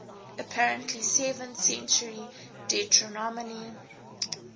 apparently seventh century deuteronomy